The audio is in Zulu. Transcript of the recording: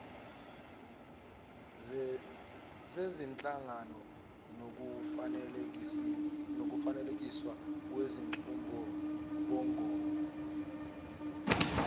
zezinhlangano nokufanekiswa kwezinqubomgomo